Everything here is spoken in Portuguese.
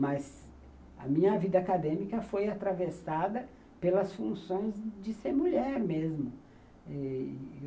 Mas a minha vida acadêmica foi atravessada pelas funções de ser mulher mesmo.